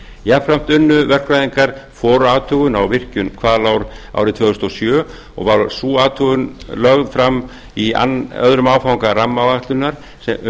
jafnframt unnu verkfræðingar forathugun á virkjun hvalár árið tvö þúsund og sjö og var sú athugun lögð fram í öðrum áfanga rammaáætlunar um